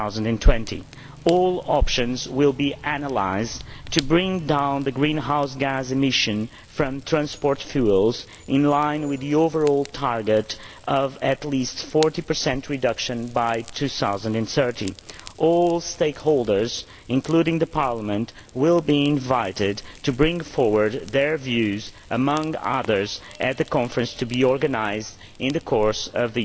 2020. All options will be analysed to bring down greenhouse gas emissions from transport fuels in line with the overall target of achieving a reduction of at least 40 by 2030. All stakeholders, including Parliament, will be invited to bring forward their views among others at the Conference to be organised in the course of